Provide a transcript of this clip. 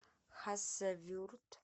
хасавюрт